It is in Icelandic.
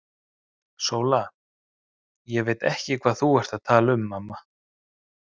SÓLA: Ég veit ekki hvað þú ert að tala um, mamma.